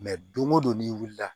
don o don n'i wulila